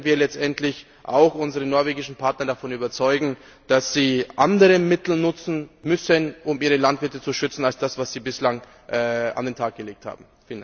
Wie können wir letztendlich auch unsere norwegischen Partner davon überzeugen, dass sie andere Mittel nutzen müssen, um ihre Landwirte zu schützen, als das, was sie bislang an den Tag gelegt haben?